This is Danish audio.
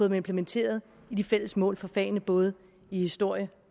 dem implementeret i de fælles mål for fagene i både historie